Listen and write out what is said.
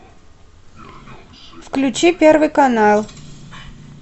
включи первый канал